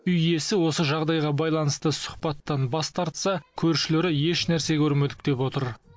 үй иесі осы жағдайға байланысты сұхбаттан бас тартса көршілері ешнәрсе көрмедік деп отыр